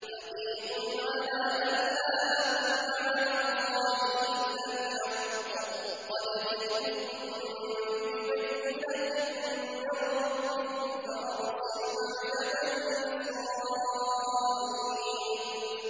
حَقِيقٌ عَلَىٰ أَن لَّا أَقُولَ عَلَى اللَّهِ إِلَّا الْحَقَّ ۚ قَدْ جِئْتُكُم بِبَيِّنَةٍ مِّن رَّبِّكُمْ فَأَرْسِلْ مَعِيَ بَنِي إِسْرَائِيلَ